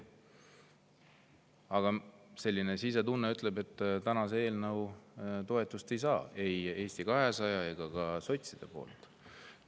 Aga mu sisetunne ütleb, et täna ei saa see eelnõu ei Eesti 200 ega sotside toetust.